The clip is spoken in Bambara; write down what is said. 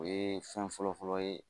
O ye fɛn fɔlɔ fɔlɔ fɔlɔ ye